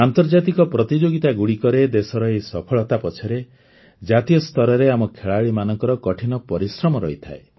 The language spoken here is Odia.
ଆନ୍ତର୍ଜାତିକ ପ୍ରତିଯୋଗିତାଗୁଡ଼ିକରେ ଦେଶର ଏହି ସଫଳତା ପଛରେ ଜାତୀୟ ସ୍ତରରେ ଆମ ଖେଳାଳିମାନଙ୍କର କଠିନ ପରିଶ୍ରମ ରହିଥାଏ